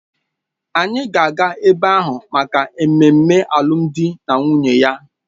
Anyị ga-aga ebe ahụ maka mmemme alụmdi na nwunye ya